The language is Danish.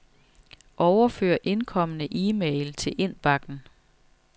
Overfør indkomne e-mail til indbakken.